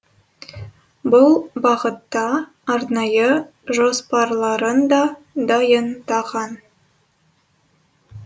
бұл бағытта арнайы жоспарларын да дайындаған